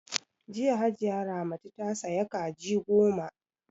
Jiya Hajiya Ramatu ta saya Kaji goma